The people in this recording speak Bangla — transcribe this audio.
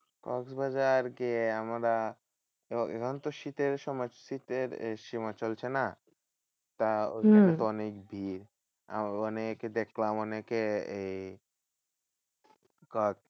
কক্সবাজার গিয়ে আমরা এখন তো শীতের সময়। শীতের আহ সময় চলছে না? তা ঐখানে তো অনেক ভিড়। ওখানে গিয়ে দেখলাম অনেকে এই ঘর